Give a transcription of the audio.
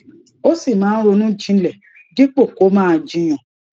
ó sì máa ń ronú jinlè dípò kó máa jiyàn